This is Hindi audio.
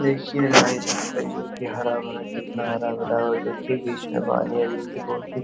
देखिए जोकि हरा-भरा कितना हरा-भरा है। देखिए बीच मे पानी है --